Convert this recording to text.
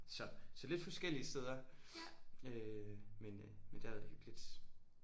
Så så lidt forskellige steder øh men øh men det har været hyggeligt